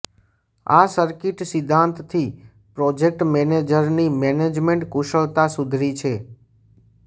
આ સર્કિટ સિદ્ધાંતથી પ્રોજેક્ટ મેનેજરની મેનેજમેન્ટ કુશળતા સુધી છે